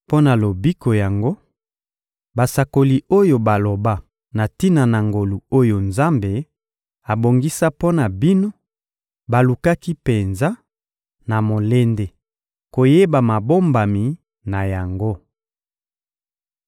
Mpo na lobiko yango, basakoli oyo baloba na tina na ngolu oyo Nzambe abongisa mpo na bino balukaki penza, na molende, koyeba mabombami na yango.